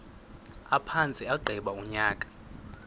aphantse agqiba unyaka